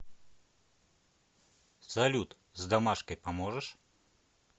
салют с домашкой поможешь